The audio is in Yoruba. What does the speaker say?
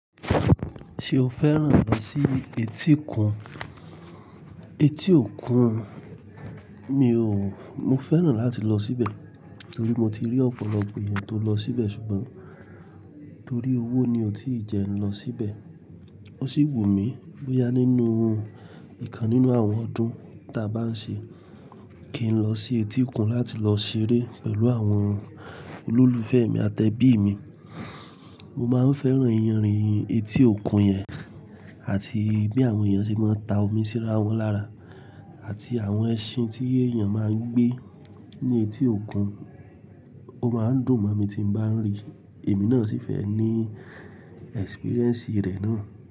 Ṣé o fẹ́ràn lọ sí etí òkun? Etí òkun, mi ò, mo fẹ́ràn láti lọ síbẹ̀ torí mo ti rí ọ̀pọ̀lọpọ̀ èèyàn tó lọ síbẹ̀ ṣùgbọ́n torí owó ni ọ́ tí ì jẹ n lọ síbẹ̀. Ó sì wù mí bóyá nínú ìkan nínú àwọn ọdún ta bá ń ṣe kí n lọ sí etí òkun láti lọ ṣeré pẹ̀lú àwọn olólùfẹ́ mi àti ẹbí mi. Mo máa ń fẹ́ràn iyanrìn etí òkun yẹn àti bí àwọn èèyàn ṣe máa ń ta omi síra wọ́n lára àti àwọn ẹṣin tí èèyàn máa ń gbé ní etí òkun. Ó máa ń dùn mọ̀ mi tí mo bá ń rí i, èmi náà sì fẹ́ ní ẹ́spríréǹsì rẹ̀ náà.